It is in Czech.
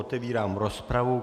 Otevírám rozpravu.